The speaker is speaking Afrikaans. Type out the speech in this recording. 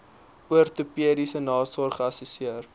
ortopediese nasorg geassesseer